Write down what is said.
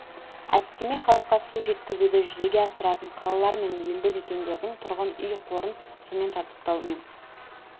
әдістеме халыққа су жеткізуді жүзеге асыратын қалалар мен елді мекендердің тұрғын үй қорын сумен жабдықтау мен